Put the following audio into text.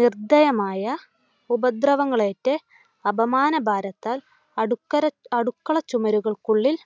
നിർദ്ധയമായ ഉപദ്രവങ്ങളേറ്റ് അപമാനഭാരത്താൽ അടുക്കര അടുക്കള ചുവരുകൾക്കുള്ളിൽ